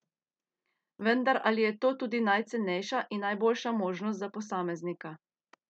Vendar ali je to tudi najcenejša in najboljša možnost za posameznika?